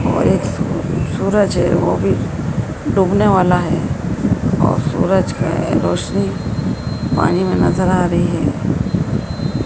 और एक सूरज हैं वो भी डूबने वाला है और सूरज की रोशनी पानी में नज़र आ रही है।